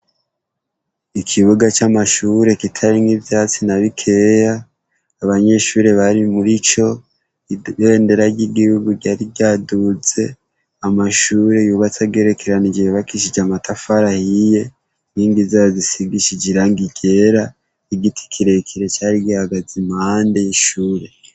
Ikibuga c'Amashure kitarimwo ivyatsi nabikeya, abanyeshure barimurico ,ibendera ryigihugu ryari ryaduze, Amashure yubatse agerekeranije yubakishijwe amatafari ahiye ,inkingi zayo zisigishije irangi ryera, Igiti kirekire cari gihagaze impande y'ishure.